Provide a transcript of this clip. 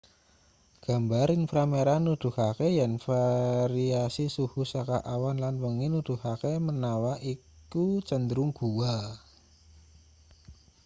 gambar inframerah nuduhake yen variasi suhu saka awan lan wengi nuduhake manawa iku cenderung guwa